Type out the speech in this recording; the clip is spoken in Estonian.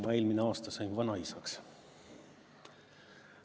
Ma eelmine aasta sain vanaisaks.